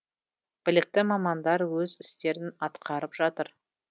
білікті мамандар өз істерін атқарып жатыр